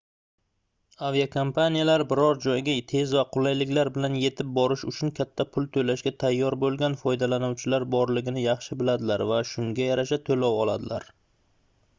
aviakompaniyalar biror joyga tez va qulayliklar bilan yetib borish uchun katta pul toʻlashga tayyor boʻlgan foydalanuvchilar borligini yaxshi biladilar va shunga yarasha toʻlov oladilar